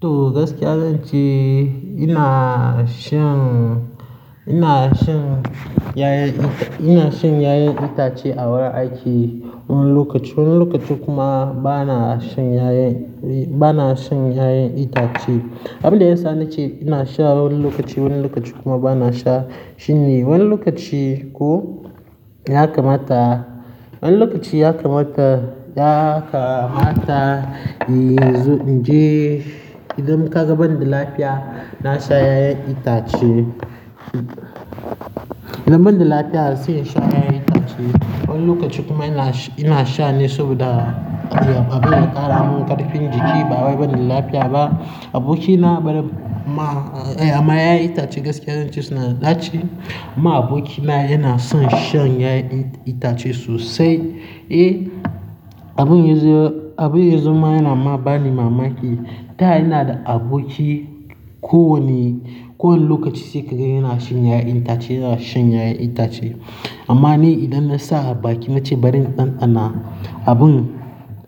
To gaskiya zan ce ina shan, ina shan 'ya'yan itace, ina shan 'ya'yan itace a wurin aiki wani lokaci. Wani lokaci kuma bana shan 'ya'yan, bana shan 'ya'yan itace. Abin da ya sa ni ce ina sha wani lokaci, wani lokaci kuma bana sha shine wani lokaci ko ya kamata, wani lokaci ya kamata, ya kamata in zo in je idan kaga bandila fiya, na sha 'ya'yan itace. Idan bandila fiya sai in sha 'ya'yan itace. Wani lokaci kuma ina sha ne saboda abin ya ƙara min ƙarfin jiki. Ba wai bandala fiya ba, abokina ma, amma 'ya'yan itace gaskiya zan ce suna daci. Amma abokina yana son shan 'ya'yan itace sosai. Eh, abin yazo, abin yazo ma yana ma bani mamaki. Da yana da aboki ko wane, kowane lokaci sai kaga yana shan 'ya'yan itace, yana shan 'ya'yan itace. Amma ni idan na sa a baki na ce bari in ɗanɗana abin,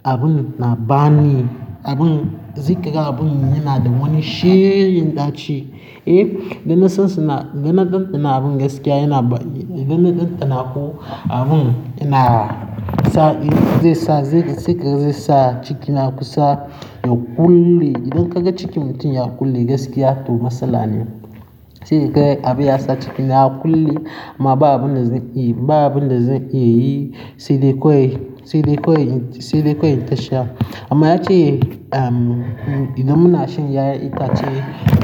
abin na bani, abin, zai kai ga abin yana da wani shegen ɗaci. Eh, dana san suna, dana ɗanɗana abin gaskiya yana, dana ɗanɗana ko abin yana sa zai sa, zai kai sai kai zai sa cikina kusa ya ƙulle. Idan ka ga cikin mutum ya ƙulle gaskiya to matsala ne. Sai kai abin ya sa cikina ya ƙulle amma ba abin da zai, ba abin da zai iya yi sai dai kawai, sai dai kawai, sai dai kawai in tasha. Amma ya ce, idan muna shan 'ya'yan itace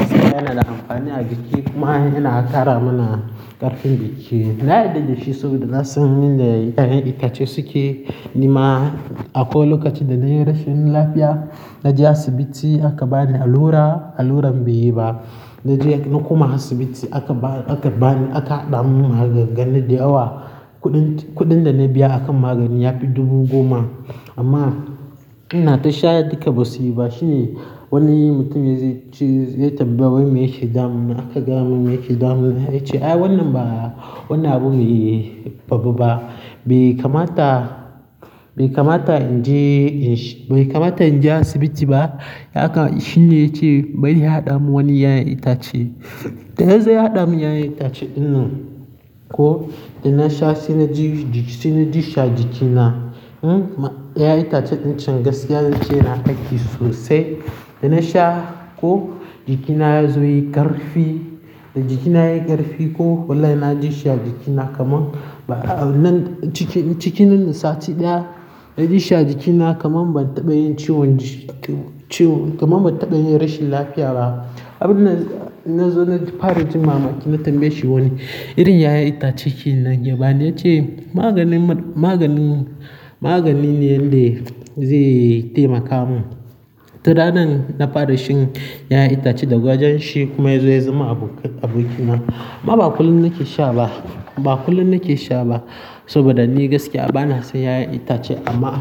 sai yana da amfani a jiki kuma yana ƙara mana ƙarfin jiki. Na yarda da shi saboda na san yan da 'ya'yan itace suke. Ni ma akwai lokaci da na yi rashin lafiya, na je asibiti aka bani allura, alluran bai yi ba. Na je na koma asibiti aka ba, aka bani, aka haɗa mun magangani da awa. Kuɗin, kuɗin da na biya a kan maganin ya fi dubu goma. Amma ina tasha duka ba su yi ba shine wani mutumin zai ce, ya tambayi me yake damuna, aka gaya mun me yake damuna. Ya ce, "Ai wannan ba, wannan abun babba ba. Bai kamata, bai kamata in je, bai kamata in je asibiti ba." Haka shi ne ya ce bari ya haɗa mun wani 'ya'yan itace. Da ya zo ya haɗa mun 'ya'yan itace ɗin nan ko da na sha sai na ji jiki, sai na ji shi a jikina. Hm, ma 'ya'yan itace ɗin can gaskiya zan ce yana aiki sosai. Da na sha ko jikina ya zo ya yi ƙarfi, da jikina yayi ƙarfi ko walai na ji shi ajikina kaman, nan cikin, cikin nan da sati ɗaya na ji shi a jikina kaman ban taɓa yin ciwon, ciwon, kaman ban taɓa yin rashin lafiya ba. Abin da na zo na fara ji mamaki na tambaye shi wane irin 'ya'yan itace kenan yabani. Ya ce maganin, maganin, magani ne yanda zai taimaka mun. Turanan na fara shan 'ya'yan itace da gawajen shi kuma ya zo ya zama abokin, abokina. Amma ba kullum nake sha ba, ba kullum nake sha ba saboda ni gaskiya bana son 'ya'yan itace amma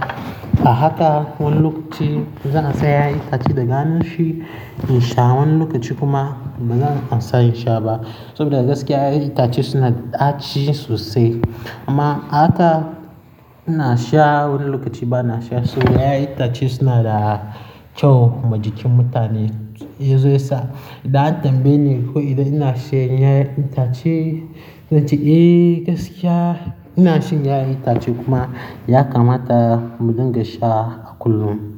ahaka wani lokaci zan sai 'ya'yan itace da ganin shi in sha wani lokaci kuma bazan amsa in sha ba saboda gaskiya 'ya'yan itace suna daci sosai. Amma ahaka ina sha wani lokaci bana sha saboda 'ya'yan itace suna da kyau ma jikin mutane. Ya zo ya sa idan an tambaye ni ko idan ina shan 'ya'yan itace, na ce eh gaskiya ina shan 'ya'yan itace kuma ya kamata mu dinga sha a kullum.